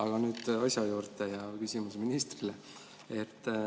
Aga nüüd asja juurde ja küsimus ministrile.